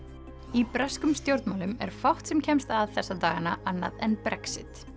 í breskum stjórnmálum er fátt sem kemst að þessa dagana annað en Brexit